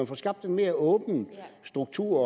få skabt en mere åben struktur